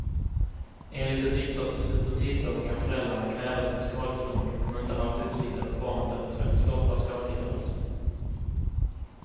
Enligt ett riksdagsbeslut på tisdagen kan föräldrarna krävas på skadestånd om de inte haft uppsikt över barnet eller försökt stoppa skadegörelse.